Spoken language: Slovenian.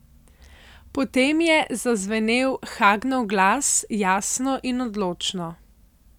Potem je zazvenel Hagnov glas, jasno in odločno.